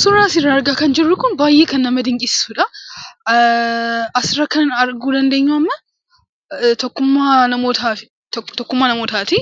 Suuraa asirraa argaa kan jirru kun baay'ee kan nama dinqisiisudha! Asirra kan arguu dandeenyu amma tokkummaa namootaa ti. Tokkummaa namootaa ti.